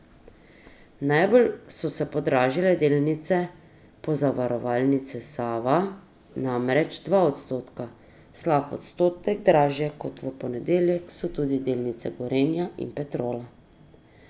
Najbolj so se podražile delnice Pozavarovalnice Sava, namreč za dva odstotka, slab odstotek dražje kot v ponedeljek so tudi delnice Gorenja in Petrola.